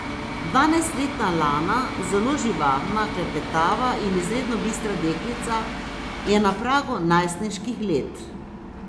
Dvanajstletna Lana, zelo živahna, klepetava in izredno bistra deklica, je na pragu najstniških let.